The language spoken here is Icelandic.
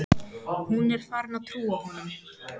Hún er farin að trúa honum.